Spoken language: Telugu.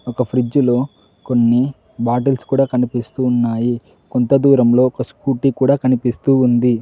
ఒక ఫ్రిజ్లో కొన్ని బాటిల్స్ కూడా కనిపిస్తూ ఉన్నాయి కొంత దూరంలో ఒక స్కూటీ కూడా కనిపిస్తూ ఉంది.